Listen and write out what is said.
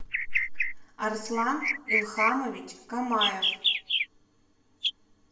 арслан илхамович камаев